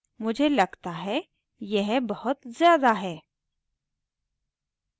मुझे लगता है यह बहुत ज़्यादा है